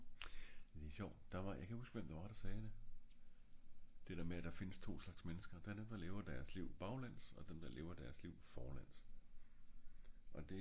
men det er sjovt jeg kan ikke huske hvem det var der sagde det det der med der findes to slags mennesker dem der lever deres liv baglæns og dem der lever deres live forlæns